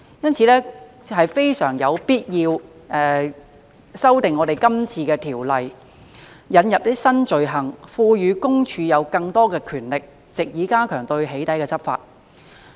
因此非常有必要修訂今次的條例，引入新罪行，並賦予私隱公署有更多權力，藉以加強對"起底"執法。